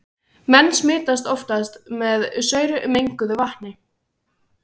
Menn smitast oftast með saurmenguðu vatni.